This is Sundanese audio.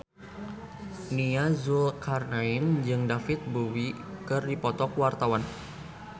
Nia Zulkarnaen jeung David Bowie keur dipoto ku wartawan